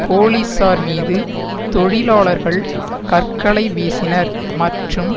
போலீசார் மீது தொழிலாளர்கள் கற்களை வீசினர் மற்றும்